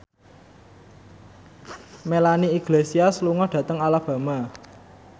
Melanie Iglesias lunga dhateng Alabama